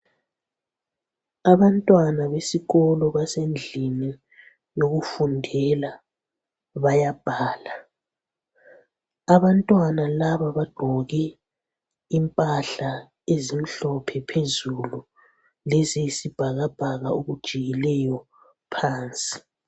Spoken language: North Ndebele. Abantwana besikolo basendlini yokufundela bayabhala. Abantwana laba bagqoke impahla ezimhlophe phezulu leziyisibhakabhaka okujiyileyo phansi.